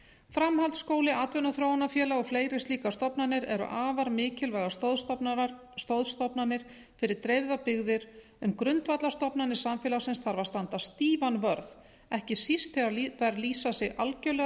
framhaldsskóli atvinnuþróunarfélag og fleiri slíkar stofnanir eru afar mikilvægar stoðstofnanir fyrir dreifðar byggðir en um grundvallarstofnanir samfélagsins þarf að standa stífan vörð ekki síst þegar þær lýsa sig algjörlega